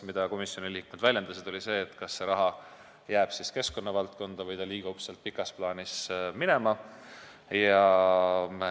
Komisjoni liikmed aga väljendasid muret, kas see raha jääb ikka keskkonnavaldkonda või liigub sealt pikas plaanis minema.